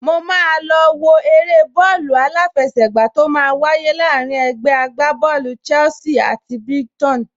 Mo máa lọ wo eré bọ́ọ̀lù aláfẹsẹ̀gbá tó máa wáyé láàrín ẹgbẹ́ agbábọ́ọ̀lù Chelsea àti Brighton